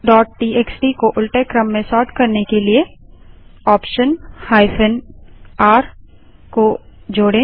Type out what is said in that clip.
number TXT को उलटे क्रम में सोर्ट करने के लिए ऑप्शन r को जोड़ें